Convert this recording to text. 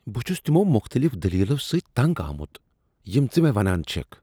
بہٕ چھس تمو مختلف دلیلو سۭتۍ تنگ آمت یِم ژٕ مےٚ ونان چھٮ۪كھ ۔